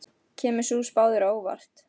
Kemur sú spá þér á óvart?